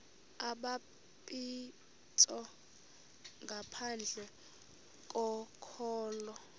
ubhaptizo ngaphandle kokholo